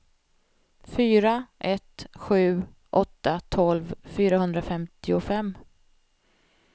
fyra ett sju åtta tolv fyrahundrafemtiofem